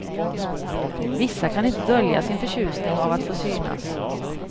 Vissa kan inte dölja sin förtjusning av att få synas.